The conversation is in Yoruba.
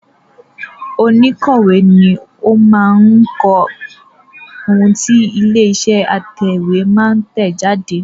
Òǹkọ̀wé ni ó máa kọ ohun tí ilé-iṣẹ́ atẹ̀wétà máa tẹ̀ jáde.